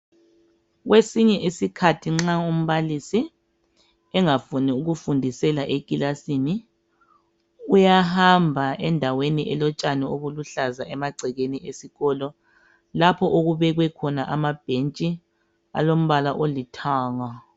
Kwesinye isikhathi nxa umbalisi engafuni ukufundisela ekilasini, uyahamba endaweni eluhlaza emagcekeni esikolo, lapho okubekwe khona amabhentshi alombala olithanga.